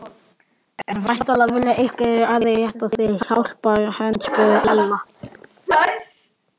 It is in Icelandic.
En væntanlega vilja einhverjir aðrir rétta þér hjálparhönd? spurði Ella.